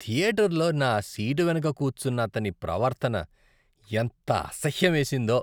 థియేటర్లో నా సీటు వెనుక కూర్చున్నతని ప్రవర్తన ఎంత అసహ్యమేసిందో.